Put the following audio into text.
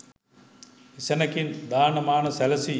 එසැණකින් දාන මාන සැලසී